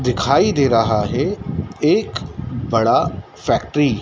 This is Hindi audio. दिखाई दे रहा है एक बड़ा फैक्ट्री --